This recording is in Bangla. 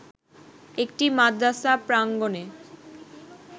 একটি মাদ্রাসা প্রাঙ্গনে